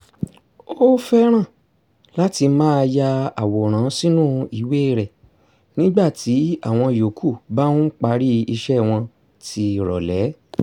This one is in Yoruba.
ó fẹ́ràn láti máa ya àwòrán sínú ìwé rẹ̀ nígbà tí àwọn yòókù bá ń parí iṣẹ́ wọn tì rọ̀lẹ́